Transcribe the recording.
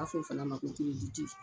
a fɔ o fana ma ko kiriditi.